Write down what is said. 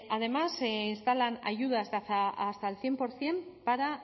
además se instalan ayudas de hasta el cien por ciento para